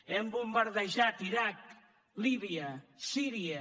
hem bombardejat l’iraq líbia síria